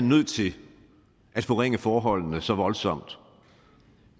nødt til at forringe forholdene så voldsomt